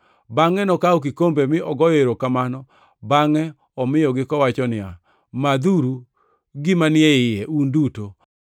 Bangʼe nokawo kikombe mi ogoyo erokamano bangʼe omiyogi kowacho niya, “Madhuru gima ni e iye, un duto.